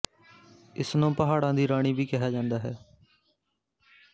ਇਸ ਨੂੰ ਪਹਾੜਾਂ ਦੀ ਰਾਣੀ ਵੀ ਕਿਹਾ ਜਾਂਦਾ ਹੈ